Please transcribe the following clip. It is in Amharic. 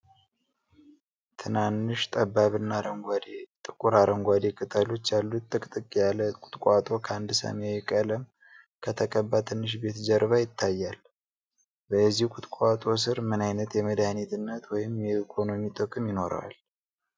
ትናንሽ፣ ጠባብና ጥቁር አረንጓዴ ቅጠሎች ያሉት ጥቅጥቅ ያለ ቁጥቋጦ ከአንድ ሰማያዊ ቀለም ከተቀባ ትንሽ ቤት ጀርባ ይታያል፤ የዚህ ቁጥቋጦ ሥር ምን ዓይነት የመድኃኒትነት ወይም የኢኮኖሚ ጥቅም ይኖረዋል?